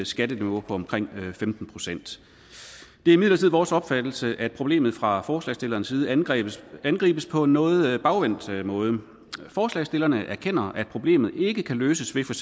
skatteniveau på omkring femten procent det er imidlertid vores opfattelse at problemet fra forslagsstillernes side angribes angribes på en noget bagvendt måde forslagsstillerne erkender at problemet ikke kan løses ved for